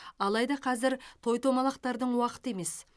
алайда қазір той томалақтардың уақыты емес